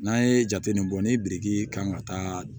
N'an ye jate min bɔ ni biriki kan ka taa